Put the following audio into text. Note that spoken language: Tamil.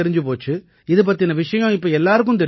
இது பத்தின விஷயம் இப்ப எல்லாருக்கும் தெரிஞ்சிருக்கும்